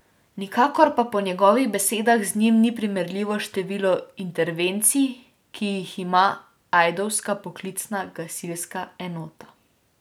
Nikakor pa po njegovih besedah z njimi ni primerljivo število intervencij, ki jih ima ajdovska poklicna gasilska enota.